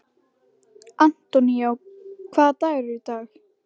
Antonio, hvaða dagur er í dag?